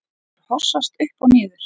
Maður hossast upp og niður.